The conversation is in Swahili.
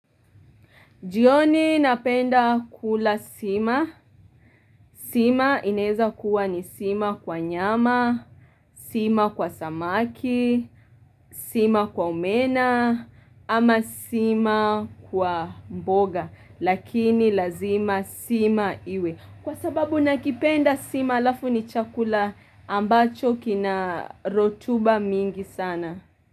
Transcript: Jioni napenda kula sima sima inaweza kuwa ni sima kwa nyama sima kwa samaki sima kwa omena ama sima kwa mboga Lakini lazima sima iwe. Kwa sababu nakipenda sima halafu ni chakula ambacho kina rutuba mingi sana.